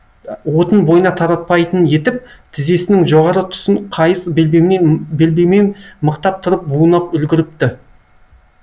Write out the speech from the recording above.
уытын бойына таратпайтын етіп тізесінің жоғары тұсын қайыс белбеумен мықтап тұрып бунап үлгіріпті